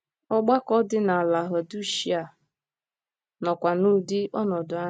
Ọgbakọ dị na Lahụdishịa nọkwa n'ụdị ọnọdụ ahụ.